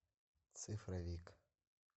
цифровик